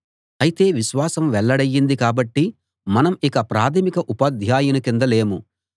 అయితే విశ్వాసం వెల్లడయింది కాబట్టి మనం ఇక ప్రాథమిక ఉపాధ్యాయుని కింద లేము